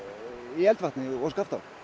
í eldvatni og Skaftá